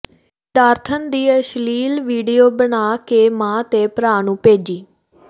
ਵਿਦਿਆਰਥਣ ਦੀ ਅਸ਼ਲੀਲ ਵੀਡੀਓ ਬਣਾ ਕੇ ਮਾਂ ਤੇ ਭਰਾ ਨੂੰ ਭੇਜੀ